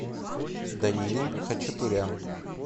даниил хачатурян